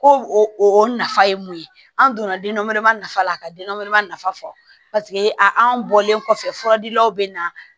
Ko o nafa ye mun ye an donna den dɔ wɛrɛ ma nafa la ka den nafa fɔ paseke anw bɔlen kɔfɛ furadilaw bɛ na